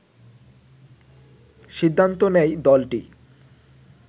সিদ্ধান্ত নেয় দলটি